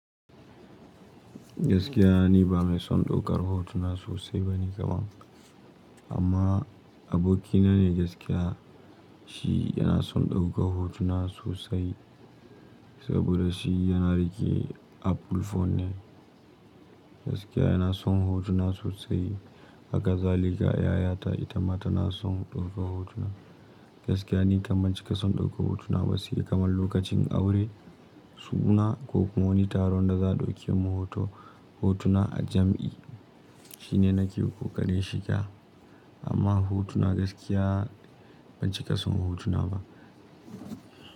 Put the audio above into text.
Gaskiya ni ba mai son daukar hotuna sosai bane kaman, amma abokina ne gaskiya shi yana son ɗaukar hotuna sosai saboda shi yana rike Apple phone ne. Gaskiya yana son hotuna sosai, haka zalika yayata ita ma tana son ɗaukar hotuna. Gaskiya ni kaman cika son ɗaukar hotuna ba sai kamar lokacin aure, suna ko kuma wani taron da za a dauki mu hotuna a jam'i. Shi ne na ke kokarin shiga amma hotuna gaskiya ban cika son hotuna ba.